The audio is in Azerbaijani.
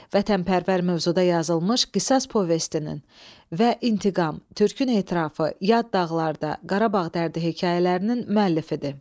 "Vətənpərvər" mövzuda yazılmış "Qisas" povestinin və "İntiqam", "Türkü elin ətrafı", "Yad dağlarda", "Qarabağ dərdi" hekayələrinin müəllifidir.